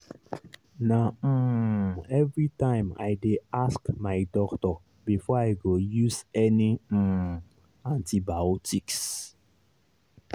na um everytime i dey ask my doctor before i go use any um antibiotics